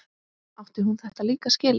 Átti hún þetta líka skilið?